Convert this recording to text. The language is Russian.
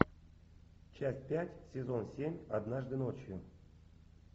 часть пять сезон семь однажды ночью